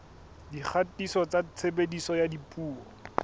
dikgatiso tsa tshebediso ya dipuo